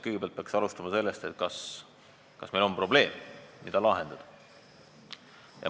Kõigepealt peaks alustama sellest, kas meil on probleem, mida on vaja lahendada.